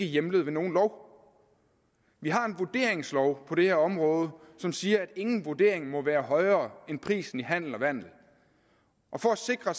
hjemlet ved nogen lov vi har en vurderingslov på det her område som siger at ingen vurdering må være højere end prisen i handel og vandel og for at sikre